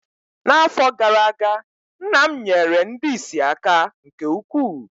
N’afọ gara aga, nna m nyeere ndị ìsì aka nke ukwuu